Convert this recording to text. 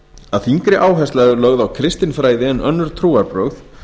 að þyngri áhersla er lögð á kristinfræði en önnur trúarbrögð